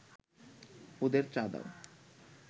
ওদের চা দাও